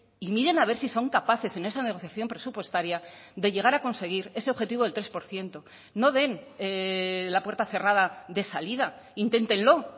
y miren a ver si son capaces en esa negociación presupuestaria de llegar a conseguir ese objetivo del tres por ciento no den la puerta cerrada de salida inténtenlo